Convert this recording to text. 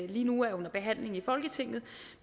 lige nu er under behandling i folketinget